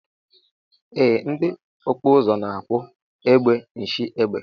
Ee ndi ọkpụzụ na akpụ egbe nshiegbe.